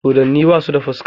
Dodonni basu da fuska